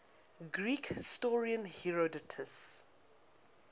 greek historian herodotus